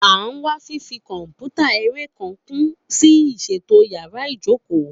A n wa fifi kọnputa ere kan kun si iṣeto yàrá ìjókòó.